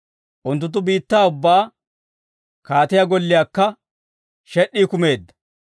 Unttunttu biittaa ubbaa, kaatiyaa golliyaakka shed'd'ii kumeedda.